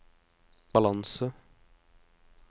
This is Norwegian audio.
balanse